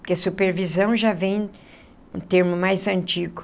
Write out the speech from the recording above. Porque supervisão já vem um termo mais antigo.